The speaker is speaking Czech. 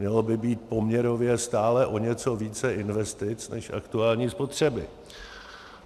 Mělo by být poměrově stále o něco více investic než aktuální spotřeby.